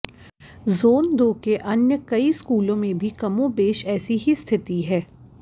zone दो के अन्य कई स्कूलों में भी कमोबेश ऐसी ही स्थिति है